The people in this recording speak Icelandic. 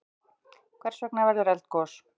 Hvers vegna verður eldgos?